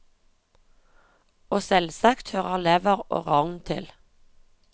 Og selvsagt hører lever og rogn til.